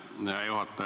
Hea juhataja!